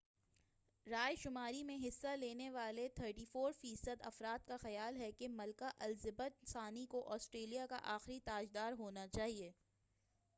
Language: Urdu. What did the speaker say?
رائے شماری میں حصہ لینے والے 34 فی صد افراد کا خیال ہے کہ ملکہ الزابتھ ثانی کو آسٹریلیا کا آخری تاج دار ہونا چاہئے